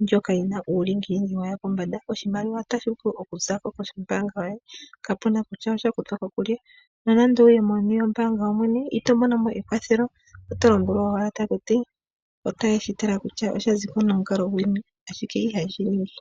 ndjoka yi na uulingilingi waya pombanda. Oshimaliwa otashi vulu okuza kombaanga yoye kutya osha kuthwa ko kulye. Nonando owuye meni lyombaanga yoyene itomono mo e kwathelo oto lombwelwa owala taku ti otaye shi tala kutya osha zi ko nomukalo guli ngiini, ashike ihaye shi ningi.